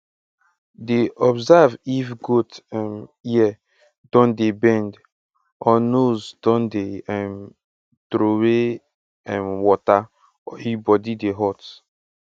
dey observe if goat um ear don dey bend or nose dey um trowey um water or e body dey hot